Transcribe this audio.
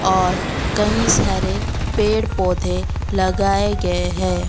और कई सारे पेड़ पौधे लगाए गये है।